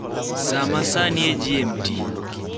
saa ma sani e g.m.t